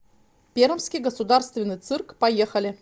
пермский государственный цирк поехали